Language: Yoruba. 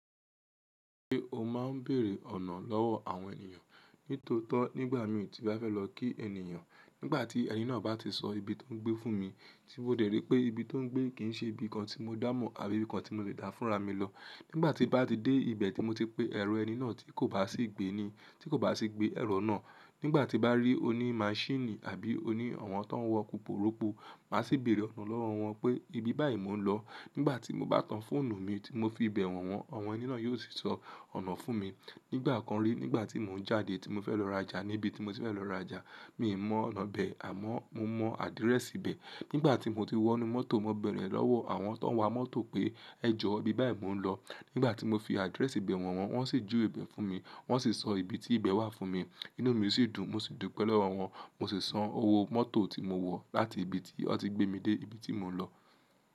Ṣé o máa ń bèèrè ọ̀nà lọ́wọ́ àwọn ènìyàn? Nítotọ́ nígbà míi ti n bá fẹ́ lọ kí ènìyàn, nígbà tí ẹni náà bá ti sọ ibi tó ń gbé fún mi, tí mo dè ri pé ibi tó ń gbé kì ń ṣe ibi kan tí mo dámọ̀ àbí ibi kan tí mo lè dá fúnra mi lọ. Nígbà tí n bá ti dé ibẹ̀ tí mo ti pé ẹ̀rọ ẹni náà tí kò bá sì gbé ni, tí kò bá sì gbé ẹ̀rọ náà, nígbà tí n bá rí oní màchine àbí oni awon tó ń wọ́ puporopu, màá sì bèèrè ọ̀nà lọ́wọ́ wọn pé ibi báyìí mò ń lọ. Nígbà tí mo bá tan fóònù mi tí mo fi bẹ̀ wọ̀n wọ́n, àwọn ẹni náà yóò sì sọ ọ̀nà fún mi. Nígbà kan rí, nígbà tí mò ń jáde tí mo fẹ́ lọ rajà níbi tí mo ti fẹ́ lọ rajà, mi ò mọ̀ ọ̀nà bẹ̀, àmọ́ mo mọ àdírẹ́sì ibẹ̀. Nígbà tí mo ti wọnú mọ́tò, mo bẹ̀rẹ̀ ẹ̀ lọ́wọ́ àwọn tó ń wa mọ́tò pé ẹ jọ ibi báyìí mò ń lọ. Nígbà tí mo fi àdírẹ́sì bẹ̀ wọ̀n wọ́n, wọ́n sì júwe ibẹ̀ fún mi. Wọ́n sì sọ ibi tí ibẹ̀ wà fún mi. Inú mi sì dùn, mo sì dupẹ̀ lowọ́ wọn. Mo sì san owó mọ́tò tí mo wọ̀ láti ibi tí wọ́n ti gbé mi dé ibi tí mò ń lọ.